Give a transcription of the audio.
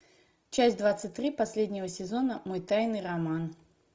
часть двадцать три последнего сезона мой тайный роман